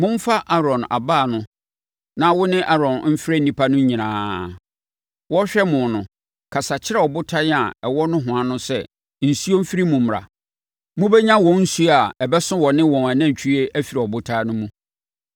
“Momfa Aaron abaa no na wo ne Aaron mfrɛ nnipa no nyinaa. Wɔrehwɛ mo no, kasa kyerɛ ɔbotan a ɛwɔ nohoa no sɛ nsuo mfiri mu mmra. Mobɛnya wɔn nsuo a ɛbɛso wɔne wɔn anantwie afiri ɔbotan no mu!”